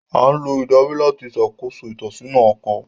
A ńlo idari lati ṣakoso itọsọna ọkọ